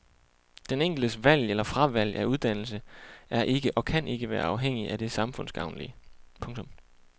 Den enkeltes valg eller fravalg af uddannelse er ikke og kan ikke være afhængigt af det samfundsgavnlige. punktum